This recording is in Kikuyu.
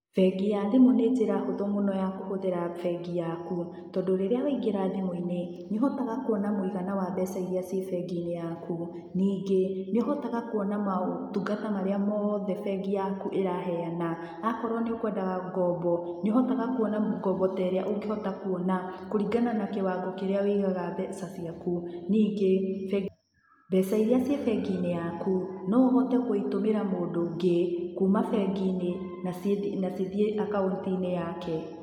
Bengi ya thimũ nĩ njĩra hũthũ mũno ya kũhũthĩra bengi yaku. Tondũ rĩrĩa waingĩra thimũ-inĩ nĩũhotaga kuona mũigana wa mbeca iria ciĩ bengi-inĩ yaku. Ningĩ nĩuhotaga kuona motungata maria mothe bengi yaku ĩrahena. Akorũo nĩ ũkwendaga ngombo, nĩũhotaga kuona ngombo ta ĩrĩa ũngĩhota kuona, kũringana na kĩwango kĩrĩa wĩigaga mbeca ciaku. Ningĩ bengi, mbeca iria ciĩ bengi-inĩ yaku no ũhote kũitũmĩra mundu ũngĩ kuma bengi-inĩ na cithiĩ akaunti-inĩ yake.